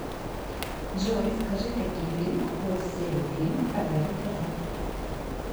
джой скажи какие фильмы входят в серию фильмов про гарри поттера